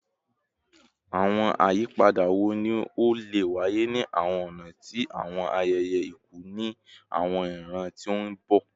Awọn ayipada wo ni o le waye ni awọn ọna ti awọn ayẹyẹ iku ni awọn iran ti n bọ?